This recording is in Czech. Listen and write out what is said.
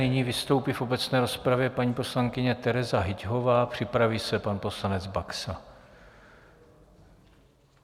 Nyní vystoupí v obecné rozpravě paní poslankyně Tereza Hyťhová, připraví se pan poslanec Baxa.